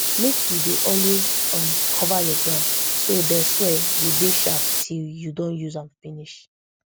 make you dey always um cover your ground so de soil go dey sharp till you don use am finish